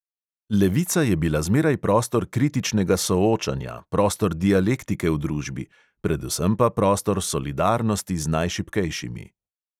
Levica je bila zmeraj prostor kritičnega soočanja, prostor dialektike v družbi, predvsem pa prostor solidarnosti z najšibkejšimi.